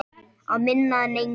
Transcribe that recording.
Að minna en engu.